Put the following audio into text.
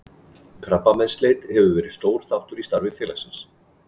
Krabbameinsleit hefur verið stór þáttur í starfi félagsins.